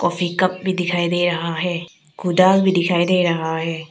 Coffee cup भी दिखाई दे रहा है कुदाल भी दिखाई दे रहा है।